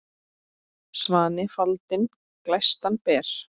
Svanni faldinn glæstan ber.